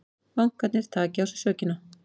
Bankarnir taki á sig sökina